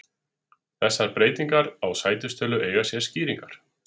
Þessar breytingar á sætistölu eiga sér skýringar.